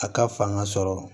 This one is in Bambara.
A ka fanga sɔrɔ